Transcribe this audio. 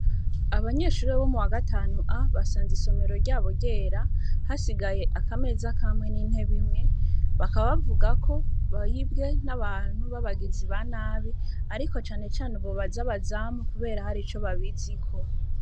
Abanyeshurira bo mu wa gatanu a basanze isomero ryabo ryera hasigaye akameza kamwe n'inte bimwe bakabavuga ko bawibwe n'abantu b'abagizi ba nabi, ariko canecane ubobaza bazamu, kubera hari ico babiziko.